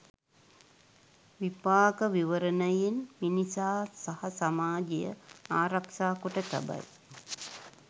විපාක විවරණයෙන් මිනිසා සහ සමාජය ආරක්‍ෂා කොට තබයි.